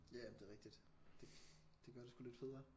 Ja men det er rigtigt det det gør det sgu lidt federe